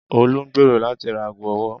Olú ń gbèrò láti ra ago ọwọ́.